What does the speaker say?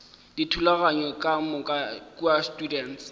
dithulaganyo ka moka kua students